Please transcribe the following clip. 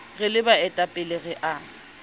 re le baetapele re a